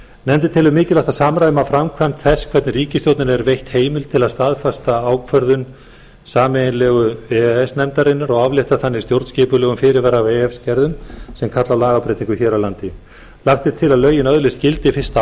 nefndin telur mikilvægt að samræma framkvæmd þess hvernig ríkisstjórninni er veitt heimild til að staðfesta ákvörðun sameiginlegu e e s nefndarinnar og aflétta þannig stjórnskipulegum fyrirvara af e e s gerðum sem kalla á lagabreytingar hér á landi lagt er til að lögin öðlist gildi fyrsta